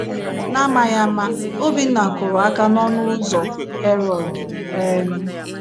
N’amaghị ama, Obinna kụrụ aka n’ọnụ ụzọ Harold. um